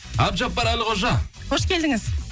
әбдіжаппар әлқожа қош келдіңіз